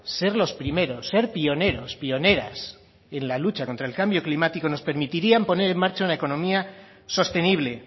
ser los primeros ser pioneros pioneras en la lucha contra el cambio climático nos permitiría poner en marcha una economía sostenible